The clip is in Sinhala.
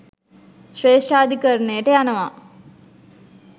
ශ්‍රේෂ්ඨාධිකරණයට යනවා.